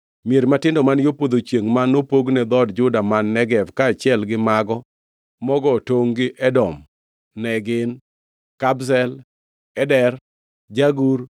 Mier matindo man yo podho chiengʼ ma nopogne dhood Juda man Negev kaachiel gi mago mogo tongʼ gi Edom ne gin: Kabzel, Eder, Jagur,